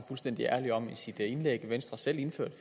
fuldstændig ærlig om i sit indlæg venstre indførte